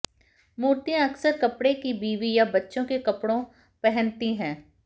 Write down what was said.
मूर्तियां अक्सर कपड़े की बीबी या बच्चों के कपड़ों पहनती हैं